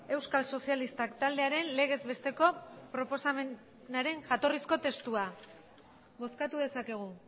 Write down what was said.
euskal sozialistak taldearen legezbesteko proposamenaren jatorrizko testua bozkatu dezakegu